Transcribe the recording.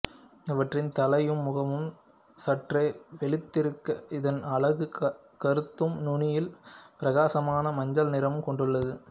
இவற்றின் தலையும் முகமும் சற்றே வெளுத்திருக்க இதன் அலகு கருத்தும் நுனியில் பிரகாசமான மஞ்சள் நிறமும் கொண்டுள்ளது